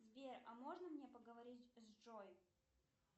сбер а можно мне поговорить с джой